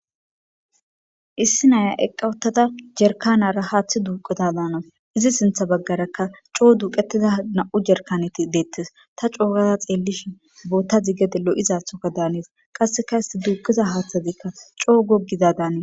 issi naya eqqawottata jerkanara haaththi duuquda daanas izi sintha baggaraka coo duuqetiza na7u jerkaneti deettes ta coogaza xeellishi bootta zigede lo7izathoka daanees qasseka isti duuqiza haaththadiikka coo gogiza daane